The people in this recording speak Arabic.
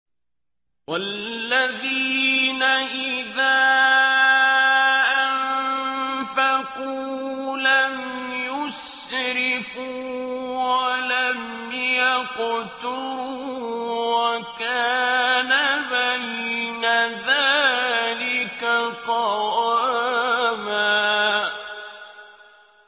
وَالَّذِينَ إِذَا أَنفَقُوا لَمْ يُسْرِفُوا وَلَمْ يَقْتُرُوا وَكَانَ بَيْنَ ذَٰلِكَ قَوَامًا